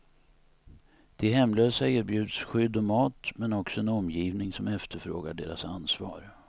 De hemlösa erbjuds skydd och mat, men också en omgivning som efterfrågar deras ansvar.